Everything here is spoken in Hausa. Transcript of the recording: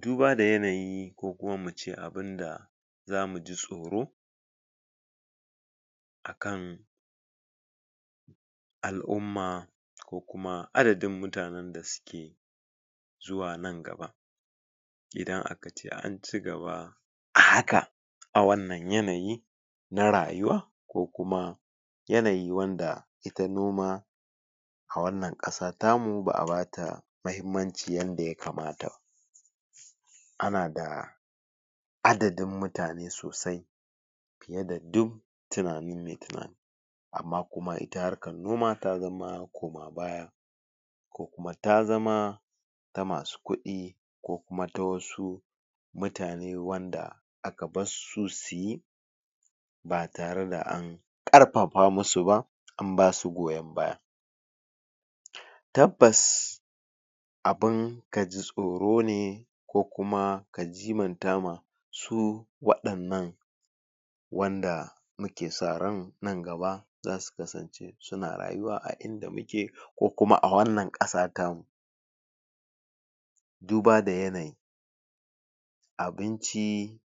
duba da yanayi ko kuma muce abinda zamu ji tsoro akan al'umma ko kuma adadin mutanen da suke zuwa nan gaba idan akace an cigaba haka a wannan yanayi na rayuwa ko kuma yanayi wanda ita noma a wannan kasa tamu ba'a bata mahimmanci yanda ya kamata ana da adadin mutane sosai fiye da duk tunanin mai tunani amma kuma ita harkan noma ta zama koma baya kuma tazama masu kudi ko kuma ta wasu mutane wanda aka barsu suyi ba tare da an karfafa musu ba an basu goyan baya tabbas abun ka ji tsoro ne ko kuma ka jimanta ma su wadannan wanda ke sa ran nan gaba zasu kasance suna rayuwa a inda muke ko kuma a wannan kasa ta mu duba da yanayi abinci